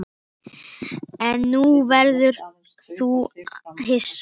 En nú verður þú hissa!